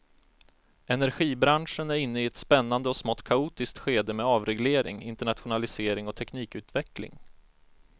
Energibranschen är inne i ett spännande och smått kaotiskt skede med avreglering, internationalisering och teknikutveckling.